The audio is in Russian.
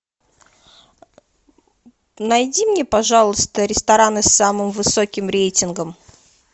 найди мне пожалуйста рестораны с самым высоким рейтингом